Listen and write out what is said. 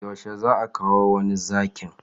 Yaushe zaa kawo wani Zakin?